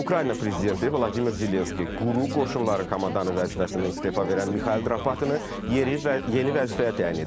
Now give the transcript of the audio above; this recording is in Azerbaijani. Ukrayna prezidenti Vladimir Zelenski Quru qoşunların komandanı vəzifəsindən istefa verən Mixail Drapıtını yeni vəzifəyə təyin edib.